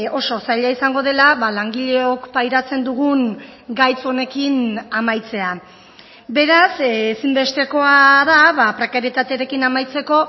oso zaila izango dela langileok pairatzen dugun gaitz honekin amaitzea beraz ezinbestekoa da prekarietatearekin amaitzeko